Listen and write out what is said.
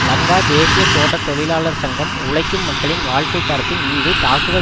லங்கா தேசிய தோட்ட தொழிலாளர் சங்கம் உழைக்கும் மக்களின் வாழ்க்கை தரத்தின் மீது தாக்குதல்